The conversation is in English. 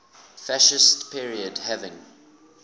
fascist period having